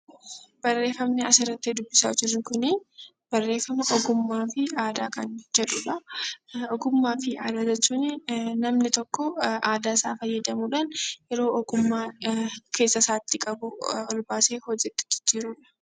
Barreeffamni asirratti dubbisaa jirru kun, barreeffama ogummaa fi aadaa jedhudha. Ogummaa fi aadaa jechuun namni tokko ogummaa isaa fayyadamuudhaan yeroo ogummaa keessa isaatii qabu hojiitti jijjiirudha.